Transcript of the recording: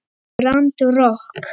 Grand Rokk.